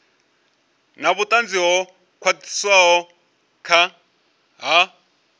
na vhutanzi ho khwathaho ha